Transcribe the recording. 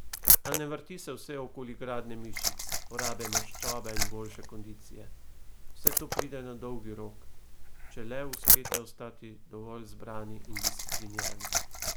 A ne vrti se vse okoli gradnje mišic, porabe maščobe in boljše kondicije, vse to pride na dolgi rok, če le uspete ostati dovolj zbrani in disciplinirani.